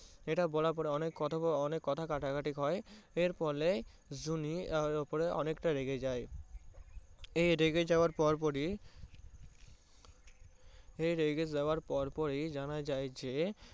এটা বলার পরে অনেক কথা কাটাকাটি হয়। এই ফলে জুঁই ওপরে অনেকটা রেগে যায়। এই রেগে যাওয়ার পর পরই এই রেগে যাওয়ার পর পরই জানা যায় যে